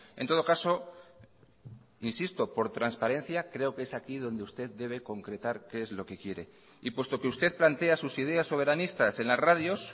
en todo caso insisto por transparencia creo que es aquí donde usted debe concretar qué es lo que quiere y puesto que usted plantea sus ideas soberanistas en las radios